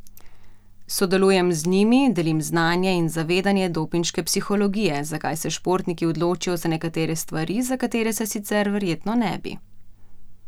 Sodelujem z njimi, delim znanje in zavedanje dopinške psihologije, zakaj se športniki odločijo za nekatere stvari, za katere se sicer verjetno ne bi.